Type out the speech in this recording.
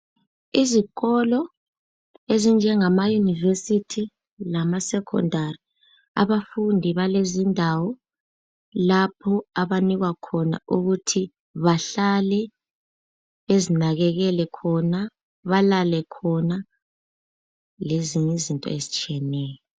Izikolo ezinjengama yunivesithi lamasecondary , abafundi balezindawo lapho abanikwa khona ukuthi bahlale bezinakekele khona balale khona. Lezinye izinto ezitshiyeneyo.